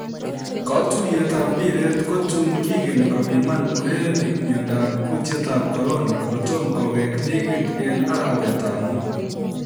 Kotuiyet ab mpiret kotun kigeni kopiman urerenik miondab kutietab Korona kotomo kowek ligit en arawet ab Mut